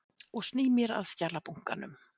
Og sný mér að skjalabunkanum.